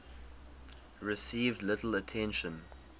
received little attention